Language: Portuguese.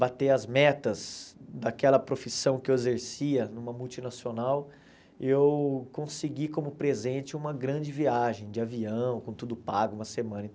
bater as metas daquela profissão que eu exercia numa multinacional, eu consegui como presente uma grande viagem de avião, com tudo pago, uma semana.